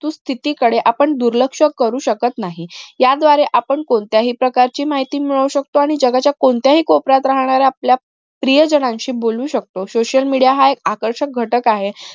सुस्थिती कडे आपण दुर्लक्ष करू शकत नाही याद्वारे आपण कोणत्याही प्रकारची माहिती मिळवू शकतो आणि जगाच्या कोणत्याही कोपऱ्यात राहणारा आपला प्रियजनांशी बोलू शकतो social media हा आकर्षित घटक आहे